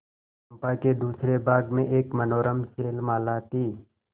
चंपा के दूसरे भाग में एक मनोरम शैलमाला थी